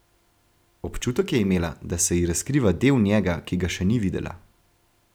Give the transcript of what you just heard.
Občutek je imela, da se ji razkriva del njega, ki ga še ni videla.